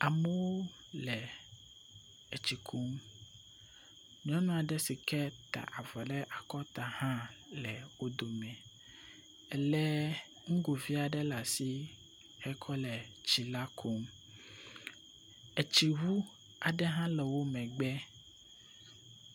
Amewo le etsi kum. Nyɔnu aɖe si ke ta avɔ ɖe akɔta hã le wo dome. Elé nugovi aɖe ɖe asi hekɔ le tsi la kum. Etsiŋu aɖe hã le womegbe